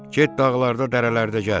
Get dağlarda, dərələrdə gəz.